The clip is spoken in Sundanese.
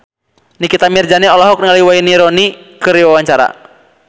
Nikita Mirzani olohok ningali Wayne Rooney keur diwawancara